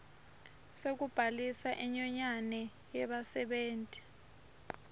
sekubhalisa inyonyane yebasebenti